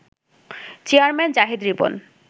chairman Zahid Ripon